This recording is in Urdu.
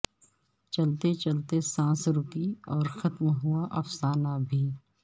چلتے چلتے سانس رکی اور ختم ہوا افسانہ بھی